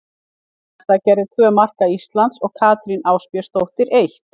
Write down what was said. Elín Metta gerði tvö marka Íslands og Katrín Ásbjörnsdóttir eitt.